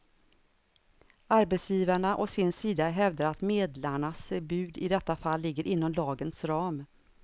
Arbetsgivarna å sin sida hävdar att medlarnas bud i detta fall ligger inom lagens ram.